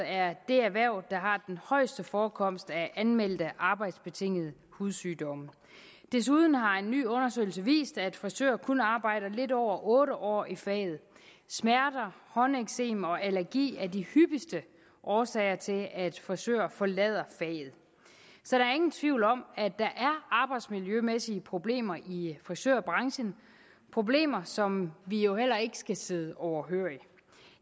er det erhverv der har den højeste forekomst af anmeldte arbejdsbetingede hudsygdomme desuden har en ny undersøgelse vist at frisører kun arbejder lidt over otte år i faget smerter håndeksem og allergi er de hyppigste årsager til at frisører forlader faget så der er ingen tvivl om at der er arbejdsmiljømæssige problemer i frisørbranchen problemer som vi jo heller ikke skal sidde overhørige